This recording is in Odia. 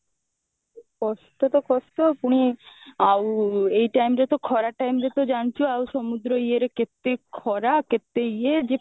କଷ୍ଟ ତ କଷ୍ଟ ପୁଣି ଆଉ ଏଇ time ରେ ତ ଖରା time ରେ ତ ଜାଣିଛୁ ଆଉ ସମୁଦ୍ର ଇଏରେ କେତେ ଖରା କେତେ ଇଏ ଯେ